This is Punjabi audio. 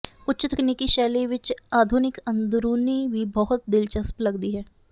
ਉੱਚ ਤਕਨੀਕੀ ਸ਼ੈਲੀ ਵਿੱਚ ਆਧੁਨਿਕ ਅੰਦਰੂਨੀ ਵੀ ਬਹੁਤ ਦਿਲਚਸਪ ਲਗਦੀ ਹੈ